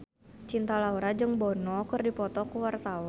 Cinta Laura jeung Bono keur dipoto ku wartawan